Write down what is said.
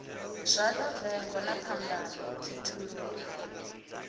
zwala vengo na phambano khethululo